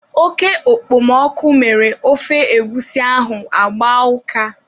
Oke okpomọkụ mere ofe egwusi ahụ agbaa ụka.